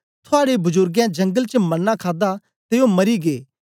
थुआड़े बजुर्गे जंगल च मन्ना खादा ते ओ मरी गै